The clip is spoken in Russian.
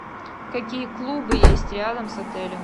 какие клубы есть рядом с отелем